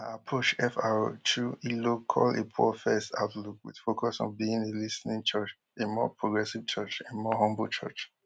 na approach fr chu ilo call a poorfirst outlook wit focus on being a lis ten ing church a more progressive church a more humble church